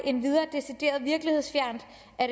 endvidere decideret virkelighedsfjernt